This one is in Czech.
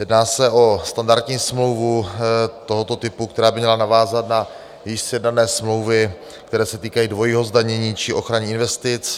Jedná se o standardní smlouvu tohoto typu, která by měla navázat na již sjednané smlouvy, které se týkají dvojího zdanění či ochraně investic.